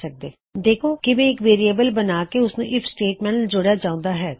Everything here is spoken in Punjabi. ਇਸ ਤਰਹ ਤੁਸੀ ਵੇਖਿਆ ਕਿਵੇਂ ਇਕ ਵੇਅਰਿਏਬਲ ਬਣਾਕੇ ਓਸਨੂੰ ਆਈਐਫ ਸਟੇਟਮੈਂਟ ਨਾਲ ਜੋੜਿਆ ਜਾਉਂਦਾ ਹੈ